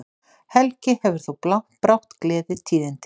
Helgi hefur þó brátt gleðitíðindi.